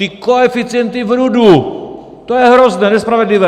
Ty koeficienty v RUD, to je hrozné, nespravedlivé! -